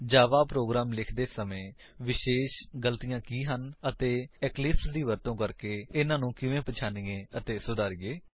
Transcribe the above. ਜਾਵਾ program ਲਿਖਦੇ ਵਕਤ ਵਿਸ਼ੇਸ਼ ਏਰਰਸ ਕੀ ਹਨ ਅਤੇ ਇਕਲਿਪਸ ਦੀ ਵਰਤੋ ਕਰਕੇ ਉਨ੍ਹਾਂਨੂੰ ਕਿਵੇਂ ਪਹਿਚਾਨੀਏ ਅਤੇ ਸੁਧਾਰੀਏ